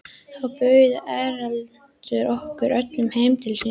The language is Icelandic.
Þá bauð Erlendur okkur öllum heim til sín.